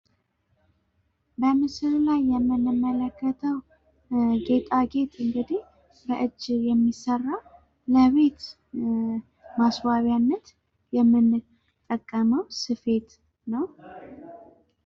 በምስሉ ላይ የምንመለከተው ጌጣጌጥ እንግዲህ በእጅ የሚሰራ ለቤት ማስዋቢያነት የምንጠቀመው ስፌት ነው።